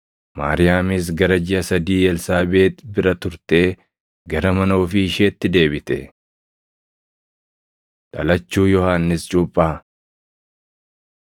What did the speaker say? Maariyaamis gara jiʼa sadii Elsaabeexi bira turtee gara mana ofii isheetti deebite. Dhalachuu Yohannis Cuuphaa